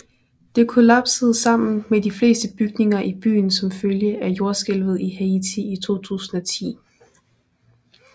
Det kollapsede sammen med de fleste bygninger i byen som følge af Jordskælvet i Haiti i 2010